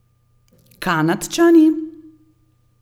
Kanadčani?